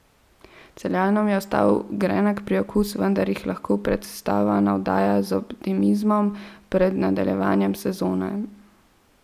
Celjanom je ostal grenak priokus, vendar jih lahko predstava navdaja z optimizmom pred nadaljevanjem sezone.